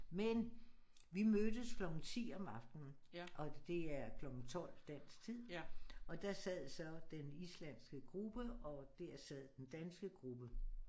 Men vi mødtes klokken 10 om aftenen og det er klokken 12 dansk tid og der sad så den islandske gruppe og dér sad den danske gruppe